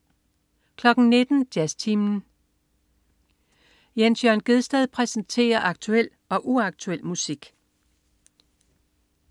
19.00 Jazztimen. Jens Jørn Gjedsted præsenterer aktuel og uaktuel musik